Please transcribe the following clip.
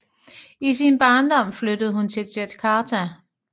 I sin barndom flyttede hun til Jakarta